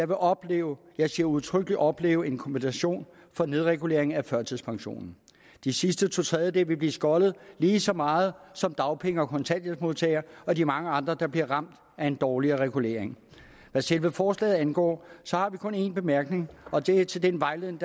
vil opleve jeg siger udtrykkeligt opleve en kompensation for nedreguleringen af førtidspensionen de sidste to tredjedele vil blive skoldet lige så meget som dagpenge og kontanthjælpsmodtagere og de mange andre der bliver ramt af en dårligere regulering hvad selve forslaget angår har vi kun én bemærkning og det er til den vejledning